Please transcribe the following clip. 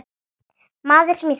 Maður, sem ég þekki.